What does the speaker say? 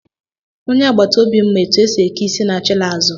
Onye agbata obi m ma otu esi eke isi na-achila azụ.